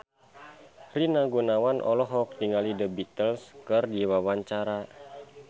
Rina Gunawan olohok ningali The Beatles keur diwawancara